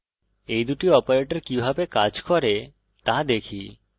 এই দুটি অপারেটর কিভাবে কাজ করে তা দেখি